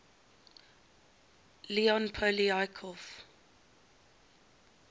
leon poliakov